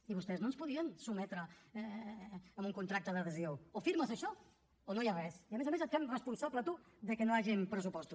i vostès no ens podien sotmetre amb un contracte d’adhesió o firmes això o no hi ha res i a més a més et fem responsable a tu que no hi hagin pressupostos